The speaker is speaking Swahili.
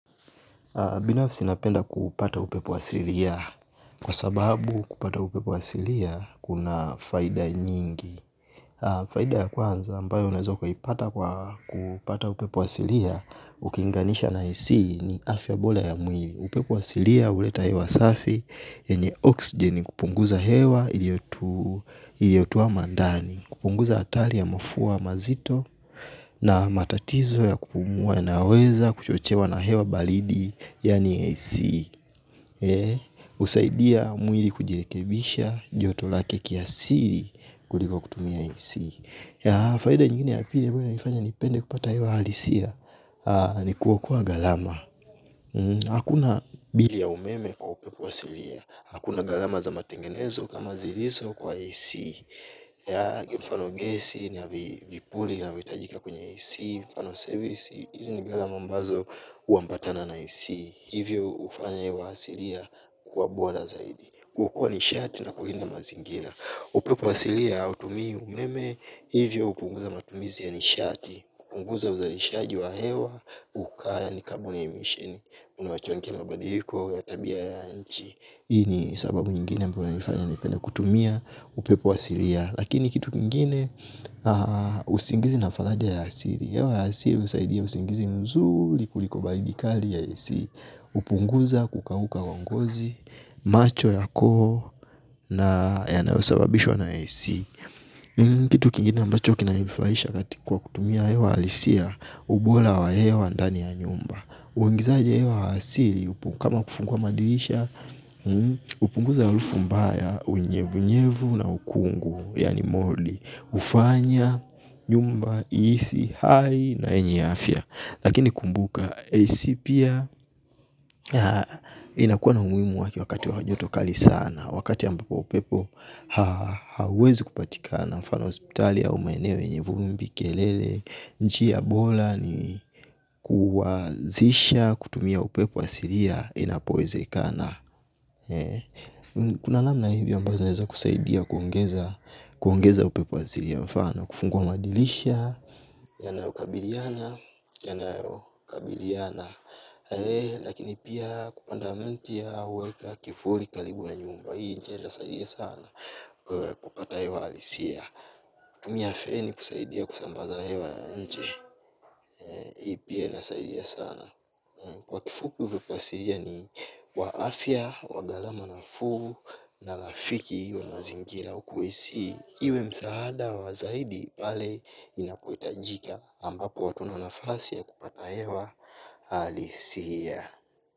Binafsi ninapenda kupata upepo wa asilia. Kwa sababu kupata upepo wa asilia, kuna faida nyingi. Faida ya kwanza ambayo unaweza kuipata kwa kupata upepo wa asilia, ukilinganisha na ac ni afya bora ya mwini. Upepo wa asilia, huleta hewa safi, yenye oksijeni kupunguza hewa, iliyotoa mandani. Kupunguza hatari ya mafua mazito na matatizo ya kupumua yanayoweza kuchochewa na hewa balidi yaani AC husaidia mwili kujirekebisha joto lake kiasili kuliko kutumia AC. Faida nyingine ya pili ambayo inanifanya nipende kupata hewa halisia ni kwa kuwa gharma hakuna bili ya umeme kwa upepo halisia. Ya mfano gesi, na vipuli, inavyohitajika kwenye AC Mfano service, hizi ni gharama ambazo huambatana na AC. Hivyo hufanya hewa hasilia kuwa bora zaidi kwa kuwa nishati na kulinda mazingira. Upepo wa asilia hautumii umeme. Hivyo hupunguza matumizi ya nishati hupunguza uzalishaji wa hewa, ukaya, yaani kaboni na emission. Unaochangia mabadiliko ya tabia ya nchi. Hii ni sababu nyingine ambayo inanifanya nipende kutumia upepo asilia. Lakini kitu kingine usingizi na faraja ya asili hewa ya asili husaidia usingizi mzuri. Kuliko baridi kali ya AC hupunguza kukauka wa ngozi. Macho yako na yanayosababishwa na AC Kitu kingine ambacho kinanifurahisha kati kwa kutumia hewa halisia ubora wa hewa ndani ya nyumba. Uingizaje hewa asili. Kama kufungua madirisha hupunguza harufu mbaya. Unyevunyevu na ukungu. Yaani moldi hufanya, nyumba, ihisi, hai na yenye afya. Lakini kumbuka AC pia inakuwa na umuhimu wake wakati wa joto kali sana. Wakati ambapo upepo hauwezi kupatika mfano hospitali au maeneo yenye vumbi kelele njia bora ni kuanzisha kutumia upepo asilia. Inapowezekana kuna namna hivi ambavyo zinaweza kusaidia kuongeza upepo halisia kwa mfano kufungua madirisha Yanayokabiliana Yanayokabiliana. Lakini pia kupanda mti au huweka kivuli karibu na nyumba. Hii njia inasaidia sana. Kupata hewa halisia. Kutumia afya hii kusaidia kusambaza hewa nje. Hii pia inasaidia sana. Kwa kifupi upepo asilia ni wa afya, wa gharama nafuu na rafiki wa mazingira huku AC Iwe msaada wa zaidi pale inapohitajika ambapo watu hawana nafasi ya kupata hewa halisia.